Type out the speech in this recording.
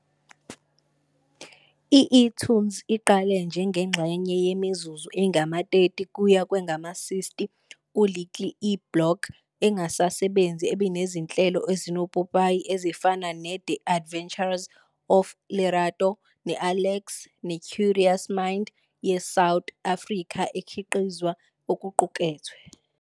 I-eToonz iqale njengengxenye yemizuzu engama-30 kuye kwangama-60 ku-Little e-block engasasebenzi ebinezinhlelo ezinopopayi ezifana ne-The Adventures Of Lerato ne-Alex ne-Curious Minds - ye-South Africa ekhiqizwe okuqukethwe.